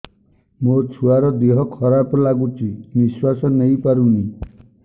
ମୋ ଛୁଆର ଦିହ ଖରାପ ଲାଗୁଚି ନିଃଶ୍ବାସ ନେଇ ପାରୁନି